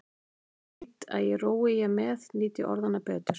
Og ég veit að rói ég með nýt ég orðanna betur.